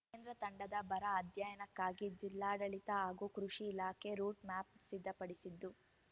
ಕೇಂದ್ರ ತಂಡದ ಬರ ಅಧ್ಯಯನಕ್ಕಾಗಿ ಜಿಲ್ಲಾಡಳಿತ ಹಾಗೂ ಕೃಷಿ ಇಲಾಖೆ ರೂಟ್‌ಮ್ಯಾಪ್‌ ಸಿದ್ಧಪಡಿಸಿದ್ದು